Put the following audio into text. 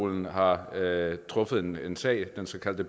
at man har valgt at afskaffe